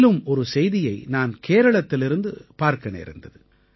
மேலும் ஒரு செய்தியை நான் கேரளத்திலிருந்து பார்க்க நேர்ந்தது